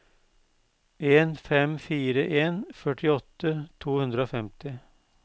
en fem fire en førtiåtte to hundre og femti